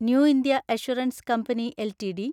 new India Assurance Company LTD